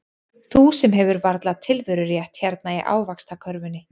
Þú sem hefur varla tilverurétt hérna í ávaxtakörfunni.